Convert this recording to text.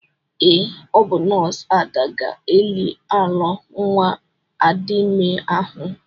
Ee, ọ bụ nọọsụ Ada ga-eli alọ nwa Adime ahụ.